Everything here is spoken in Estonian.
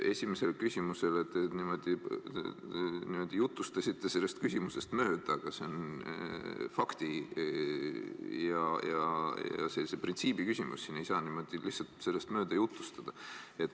Esimesele küsimusele vastates te niimoodi jutustasite sellest mööda, aga see on fakti ja printsiibi küsimus, siin ei saa lihtsalt niimoodi mööda jutustada.